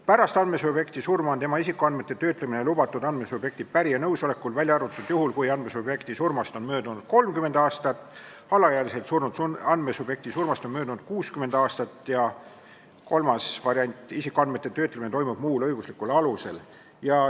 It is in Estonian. Pärast andmesubjekti surma on tema isikuandmete töötlemine lubatud andmesubjekti pärija nõusolekul, välja arvatud juhul, kui andmesubjekti surmast on möödunud 30 aastat ja alaealiselt surnud andmesubjekti surmast on möödunud 60 aastat ja on ka kolmas variant, et isikuandmete töötlemine toimub muul õiguslikul alusel.